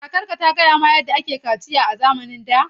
Kakarka ta gaya maka yadda ake yin kaciya a zamanin da?